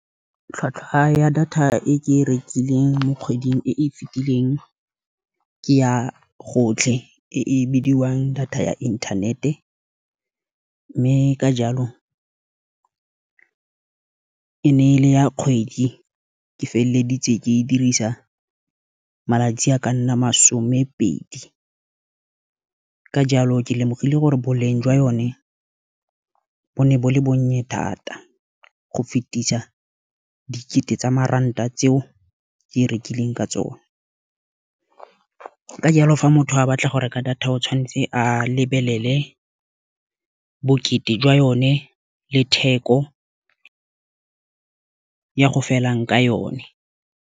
Tlhwatlhwa ya data e ke e rekileng mo kgweding e e fitileng, ke ya gotlhe e e bidiwang data ya internet-e. Mme ka jalo e ne e le ya kgwedi, ke feleleditse ke e dirisa malatsi a ka nna masome pedi. Ka jalo ke lemogile gore boleng jwa yone bo ne bo le bonye thata, go fetisa dikete tsa maranta tseo ke e rekileng ka tsone. Ka jalo fa motho a ke tla ka go reka data o tshwanetse a lebelele bokete jwa yone le theko ya go felang ka yone.